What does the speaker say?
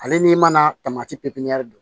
Ale n'i mana tamati pe pepiɲɛri